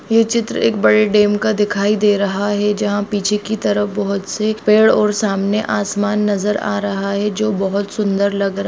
ये चित्र एक बड़े डैम का दिखाई दे रहा है जहाँ पीछे की तरफ बहुत से पेड़ और सामने आसमान नजर आ रहा है जो बहुत सुंदर लग --